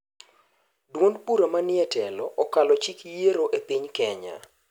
Duond bura manie e telo akalo chik yiero e piny kenya